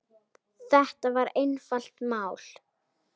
Þetta var einfalt mál.